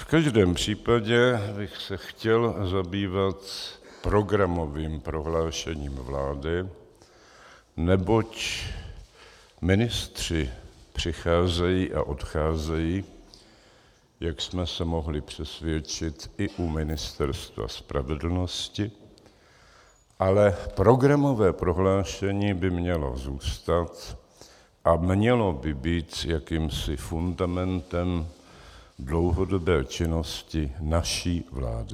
V každém případě bych se chtěl zabývat programovým prohlášením vlády, neboť ministři přicházejí a odcházejí, jak jsme se mohli přesvědčit i u Ministerstva spravedlnosti, ale programové prohlášení by mělo zůstat a mělo by být jakýmsi fundamentem dlouhodobé činnosti naší vlády.